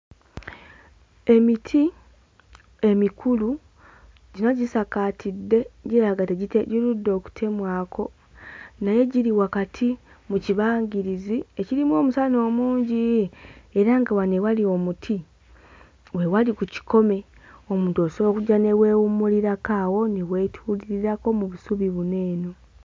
Emiti emikulu gyonna gisakaatidde giraga tegite girudde okutemwako naye giri wakati mu kibangirizi ekirimu omusana omungi era nga wano ewali omuti we wali ku kikome omuntu osobola okujja ne weewummulirako awo ne weetuulirirako mu busubi buno eno.